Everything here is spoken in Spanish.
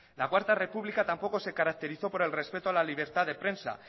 la cuarto república tampoco se caracterizó por el respeto a la libertad de prensa